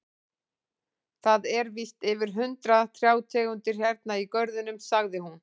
Það eru víst yfir hundrað trjátegundir hérna í görðunum, sagði hún.